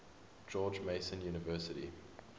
george mason university